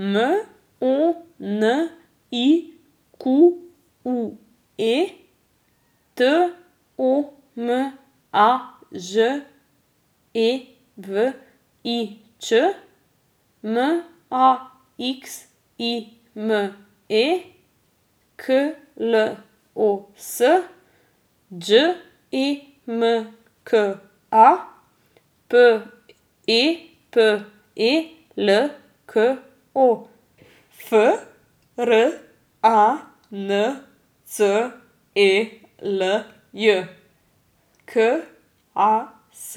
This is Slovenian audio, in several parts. M O N I Q U E, T O M A Ž E V I Č; M A X I M E, K L O S; Đ E M K A, P E P E L K O; F R A N C E L J, K A S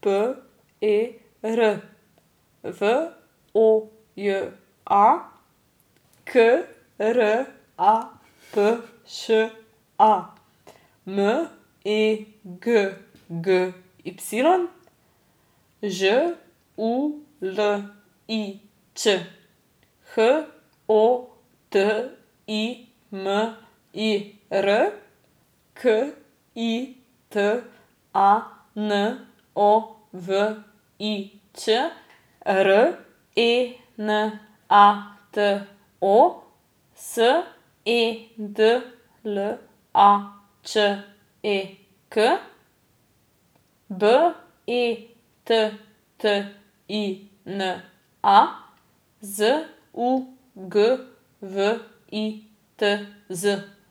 P E R; V O J A, K R A P Š A; M E G G Y, Ž U L I Č; H O T I M I R, K I T A N O V I Ć; R E N A T O, S E D L A Č E K; B E T T I N A, Z U G W I T Z.